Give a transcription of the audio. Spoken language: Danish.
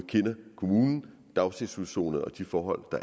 kommunen daginstitutionen og de forhold